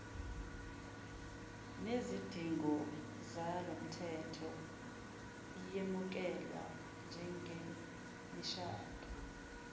nezidingozalomthetho iyemukelwa njengemishado